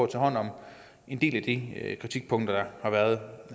tage hånd om en del af de kritikpunkter der har været